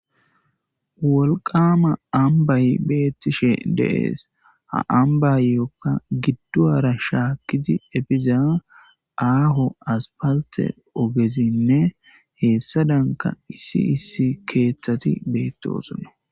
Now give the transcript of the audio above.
wolqama ambay beettishe de'ees ha ambayyikka giddoara shaakkizi efiza aaho aspalte ogezinne heessadanka issi issi keeththati beetti osuna